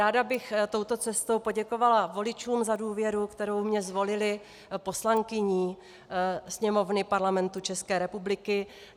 Ráda bych touto cestou poděkovala voličům za důvěru, kterou mě zvolili poslankyní Sněmovny Parlamentu České republiky.